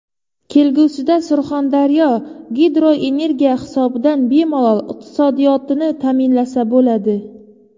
Kelgusida Surxondaryo gidroenergiya hisobidan bemalol iqtisodiyotini ta’minlasa bo‘ladi.